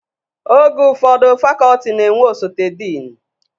Oge ụfọdụ fakọltị na-enwe osote dịnị